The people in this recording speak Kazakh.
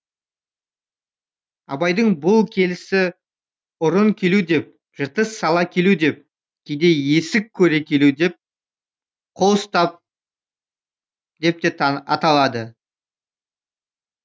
абайдың бұл келісі ұрын келу деп жыртыс сала келу деп кейде есік көре келу қол ұстау деп те аталады